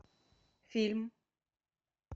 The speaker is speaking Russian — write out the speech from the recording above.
фильм